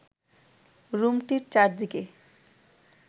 রুমটির চারদিকে